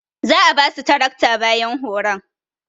Za'a basu tarakta bayan horon.